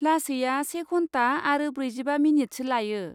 लासैया से घन्टा आरो ब्रैजिबा मिनिटसो लायो।